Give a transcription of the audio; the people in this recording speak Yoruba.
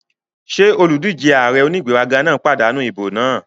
Ṣé olùdíjé ààrẹ onígbéraga náà pàdánù ìbò náà?